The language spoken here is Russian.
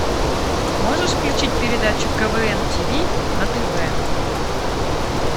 можешь включить передачу квн ти ви на тв